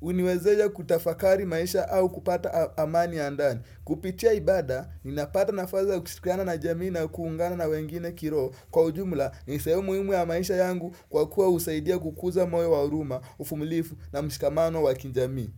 uniwezesha kutafakari maisha au kupata amani ya ndani. Kupitia ibada, ninapata nafasi ya kushirikiana na jamii na kuungana na wengine kiroho. Kwa ujumula, nisehemu muhimu ya maisha yangu kwa kuwa husaidia kukuza moyo wa huruma, uvumilivu na mshikamano wa kijamii.